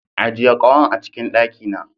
Ajiye kahon a cikin daki na.